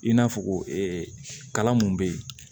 I n'a fɔ kalan mun be yen